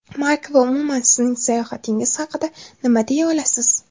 Mark va umuman sizning sayohatingiz haqida nima deya olasiz?